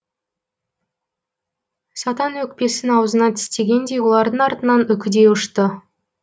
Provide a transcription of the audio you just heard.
сатан өкпесін аузына тістегендей олардың артынан үкідей ұшты